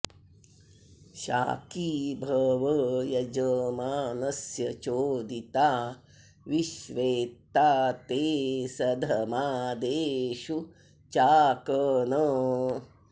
शाकी॑ भव॒ यज॑मानस्य चोदि॒ता विश्वेत्ता ते॑ सध॒मादे॑षु चाकन